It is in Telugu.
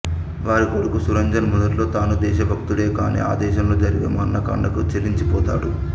వారి కొడుకు సురంజన్ మొదట్లో తానూ దేశభక్తుడే కానీ ఆ దేశంలో జరిగే మారణకాండకు చెలించిపోతాడు